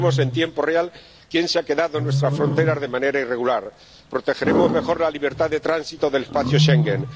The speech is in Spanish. sabremos en tiempo real quién se ha quedado en nuestras fronteras de manera irregular protegeremos mejor la libertad de tránsito en el espacio Schengen